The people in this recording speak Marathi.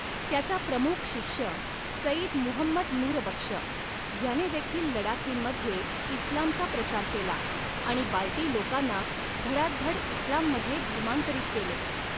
त्याचा प्रमुख शिष्य सईद मुहंमद नूरबक्ष ह्यानेदेखील लडाखींमध्ये इस्लामचा प्रचार केला आणि बाल्टी लोकांना धडाधड इस्लाममध्ये धर्मांतरित केले.